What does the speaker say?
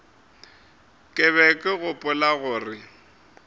ke be ke gopola gore